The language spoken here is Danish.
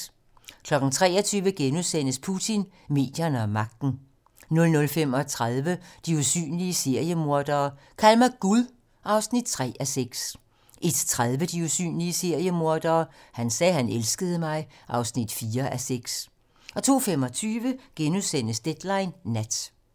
23:00: Putin, medierne og magten * 00:35: De usynlige seriemordere: Kald mig Gud (3:6) 01:30: De usynlige seriemordere: Han sagde, han elskede mig (4:6) 02:25: Deadline nat *